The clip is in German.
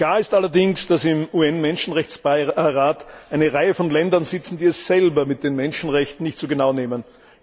Klar ist allerdings, dass im UN Menschenrechtsrat eine Reihe von Ländern sitzen, die es selber mit den Menschenrechten nicht so genau nehmen.